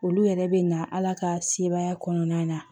Olu yɛrɛ bɛ na ala ka sebaya kɔnɔna na